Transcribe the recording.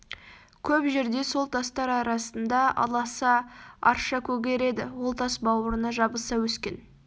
көп жерде сол тастар арасында аласа арша көгереді ол тас бауырына жабыса өскен